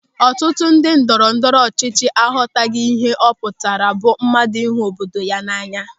Ọtụtụ ndị ndọrọndọrọ ọchịchị aghọtaghị ihe ọ pụtara bụ mmadụ ịhụ obodo ya n'anya.